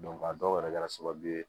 a dɔw yɛrɛ kɛra sababu ye